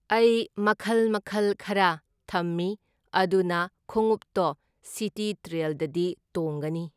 ꯑꯩ ꯃꯈꯜ ꯃꯈꯜ ꯈꯔ ꯊꯝꯃꯤ ꯑꯗꯨꯅ ꯈꯨꯡꯎꯞꯇꯣ ꯁꯤꯒꯤ ꯇ꯭ꯔꯦꯜꯗꯗꯤ ꯇꯣꯡꯒꯅꯤ꯫